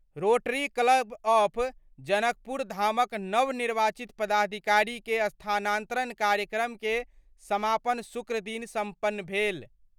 Rotary Club of जनकपुरधामक नवनिर्वाचित पदाधिकारी के स्थानांतरण कार्यक्रम के समापन शुक्रदिन संपन्न भेल।